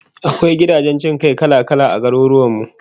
Akwai gidajen jin kai kala-kala a garurwan mu